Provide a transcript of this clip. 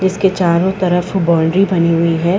इसके चारों तरफ बाउंड्री बनी हुई है।